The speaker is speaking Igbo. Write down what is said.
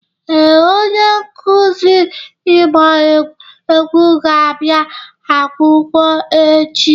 Ee, onye nkuzi ịgba egwu ga-abịa akwụkwọ echi.